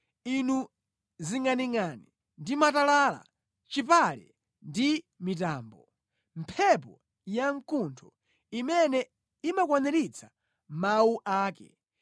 inu zingʼaningʼani ndi matalala, chipale ndi mitambo, mphepo yamkuntho imene imakwaniritsa mawu ake,